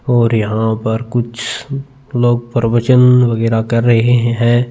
और यहाँ पर कुछ लोग प्रवचन वगैरह कर रहे है।